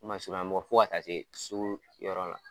N masurunnamɔgɔ fo ka taa se sugu yɔrɔ la.